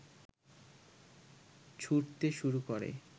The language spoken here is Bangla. ছুঁড়তে শুরু করে